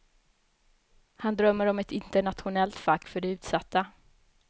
Han drömmer om ett internationellt fack för de utsatta.